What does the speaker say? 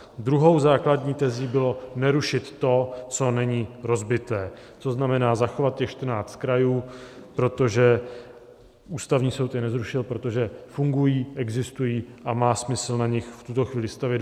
Druhou základní tezí bylo nerušit to, co není rozbité, to znamená zachovat těch 14 krajů, protože Ústavní soud je nezrušil, protože fungují, existují a má smysl na nich v tuto chvíli stavět.